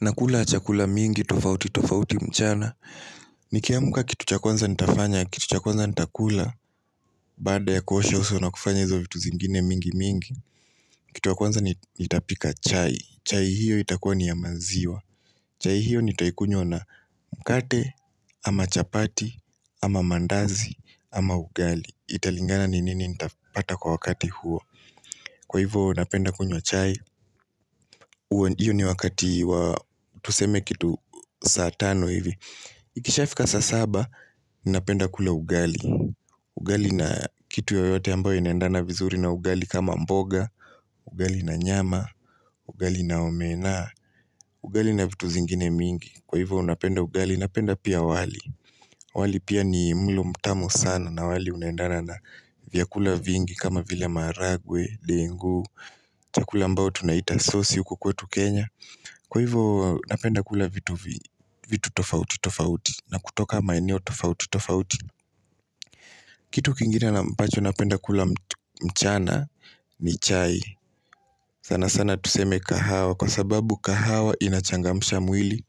Nakula chakula mingi tofauti tofauti mchana. Nikiamka kitu cha kwanza nitafanya kitu cha kwanza nitakula baada ya kuosha uo na kufanya hizo vitu zingine mingi mingi Kitu ya kwanza nitapika chai, chai hiyo itakua ni ya maziwa chai hiyo nitakunywa na mkate, ama chapati, ama mandazi, ama ugali. Italingana ni nini nitapata kwa wakati huo. Kwa hivyo napenda kunywa chai hiyo ni wakati wa tuseme kitu saa tano hivi Ikisha fika saa saba, napenda kula ugali Ugali na kitu yoyote ambayo inaendana vizuri na ugali kama mboga Ugali na nyama, ugali na omena, ugali na vitu zingine mingi. Kwa hivyo napenda ugali, napenda pia wali wali pia ni mlo mtamu sana na wali unaendana na vyakula vingi kama vile maharagwe, ndengu, chakula ambayo tunaita sosi huku kwetu Kenya. Kwa hivyo napenda kula vitu vi vitu tofauti tofauti na kutoka maeneo tofauti tofauti Kitu kingine ambacho napenda kula mchana ni chai. Sana sana tuseme kahawa kwa sababu kahawa inachangamsha mwili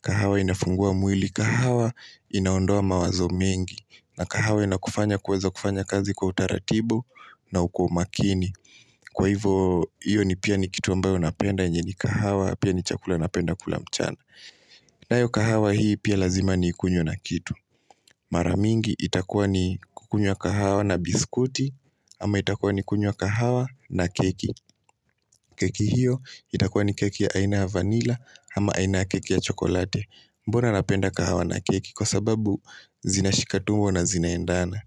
kahawa inafungua mwili, kahawa inaondoa mawazo mengi. Na kahawa inakufanya kuweza kufanya kazi kwa utaratibu na kwa umakini. Kwa hivyo hiyo ni pia ni kitu ambayo napenda yenye ni kahawa pia ni chakula napenda kula mchana nayo kahawa hii pia lazima niikunywe na kitu Mara mingi itakuwa ni kukunywa kahawa na biskuti ama itakuwa ni kunywa kahawa na keki keki hiyo itakuwa ni keki ya aina ya vanila ama aina ya keki ya chokoleti. Mbona napenda kahawa na keki? Kwa sababu zinashika tumbo na zinaendana.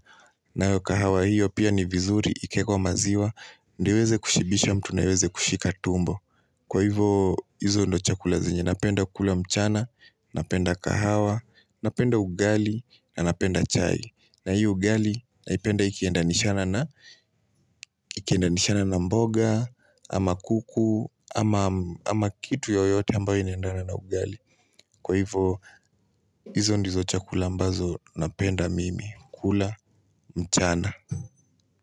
Nayo kahawa hiyo pia ni vizuri ikiwekwa maziwa Ndiyo iweze kushibisha mtu na iweze kushika tumbo. Kwa hivyo hizo ndio chakula zenye napenda kukula mchana Napenda kahawa. Napenda ugali na napenda chai. Na hii ugali naipenda ikiendanishana na mboga ama kuku, ama ama kitu yoyote ambayo inaendana na ugali. Kwa hivyo hizo ndizo chakula ambazo napenda mimi kula mchana.